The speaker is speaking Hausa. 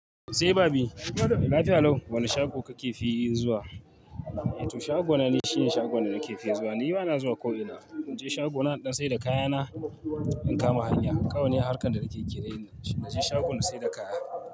Sai babi, lafiya lau. Wane shago kake fi yin zuwa? To shagona ni shine shagon da nake fi zuwan. Ni bana zuwa ko ina. In je shagona in ɗan saida kayana in kama hanya. Kawai harkan da nake kirani dashi. Na je shago na saida kaya.